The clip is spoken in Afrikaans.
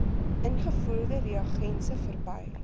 ingevoerde reagense verby